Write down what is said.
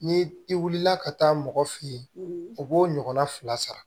Ni i wulila ka taa mɔgɔ fe yen o b'o ɲɔgɔnna fila sara